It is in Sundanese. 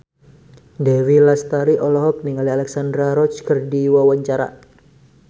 Dewi Lestari olohok ningali Alexandra Roach keur diwawancara